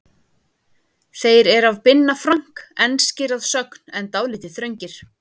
Þeir eru af Binna Frank, enskir að sögn en dálítið þröngir.